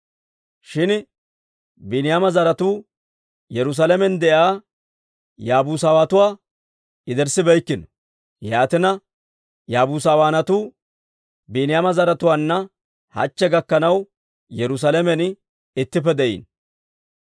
Shin Biiniyaama zaratuu Yerusaalamen de'iyaa Yaabusatuwaa yederssibeykkino; yaatina, Yaabusawaanatuu Biiniyaama zaratuwaanna hachche gakkanaw Yerusaalamen ittippe de'iino.